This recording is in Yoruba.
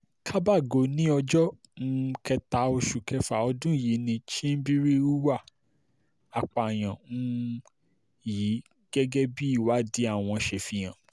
kábàgó ní ọjọ́ um kẹta oṣù kẹfà ọdún yìí ni chimbirin hùwà apààyàn um yìí gẹ́gẹ́ bí ìwádìí àwọn ṣe fi hàn